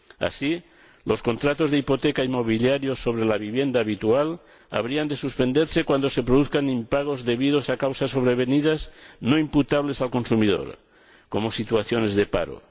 Así, los contratos de hipoteca inmobiliaria sobre la vivienda habitual habrían de suspenderse cuando se produzcan impagos debidos a causas sobrevenidas no imputables al consumidor, como situaciones de paro.